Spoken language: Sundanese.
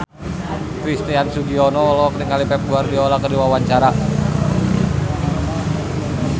Christian Sugiono olohok ningali Pep Guardiola keur diwawancara